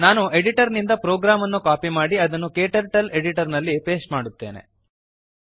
ನಾನು ಎಡಿಟರ್ ನಿಂದ ಪ್ರೋಗ್ರಾಮ್ ಅನ್ನು ಕಾಪಿ ಮಾಡಿ ಅದನ್ನು ಕ್ಟರ್ಟಲ್ ಎಡಿಟರ್ ನಲ್ಲಿ ಪೇಸ್ಟ್ ಮಾಡುತ್ತೇನೆ